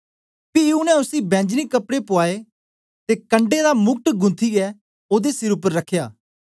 पी उनै उसी बैंजनी कपड़े पुआए ते कंडै दा मुकुट गुंथीयै ओदे सिर उपर रखया